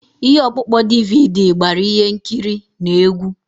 Ihe ọkpụkpọ DVD gbara ihe nkiri na egwu.